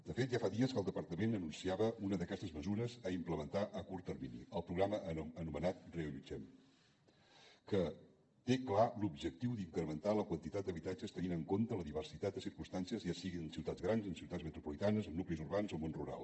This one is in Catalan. de fet ja fa dies que el departament anunciava una d’aquestes mesures a implementar a curt termini el programa anomenat reallotgem que té clar l’objectiu d’incrementar la quantitat d’habitatges tenint en compte la diversitat de circumstàncies ja sigui en ciutats grans en ciutats metropolitanes en nuclis urbans o al món rural